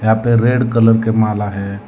यहां पे red colour की माला है।